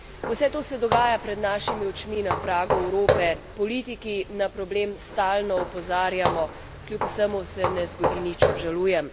Vse to se dogaja pred našimi očmi, na pragu Evrope, politiki na problem stalno opozarjamo, kljub vsemu se ne zgodi nič obžalujem.